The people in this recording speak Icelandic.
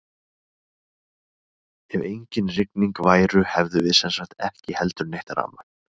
Ef engin rigning væru hefðum við sem sagt ekki heldur neitt rafmagn!